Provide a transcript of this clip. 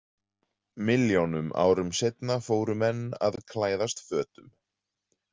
Milljónum árum seinna fóru menn að klæðast fötum.